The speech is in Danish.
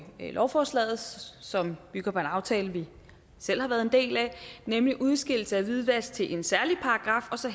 lovforslaget som bygger på en aftale vi selv har været en del af nemlig udskillelse af hvidvask til en særlig paragraf og så